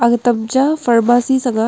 aga tam cha pharmacy sang ga.